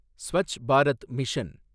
Swachh Bharat mission